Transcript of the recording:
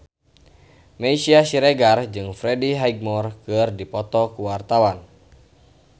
Meisya Siregar jeung Freddie Highmore keur dipoto ku wartawan